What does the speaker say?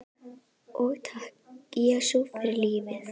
Og takk, Jesús, fyrir lífið.